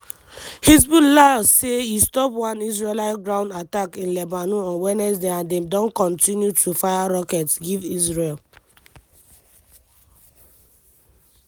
hezbollah say e stop one israeli ground attack in lebanon on wednesday and dem don continue to fire rockets give israel.